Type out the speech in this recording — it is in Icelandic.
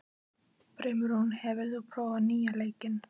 Brimrún, hefur þú prófað nýja leikinn?